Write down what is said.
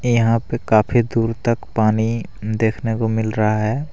यहां पे काफी दूर तक पानी देखने को मिल रहा है।